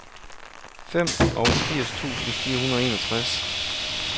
femogfirs tusind fire hundrede og enogtres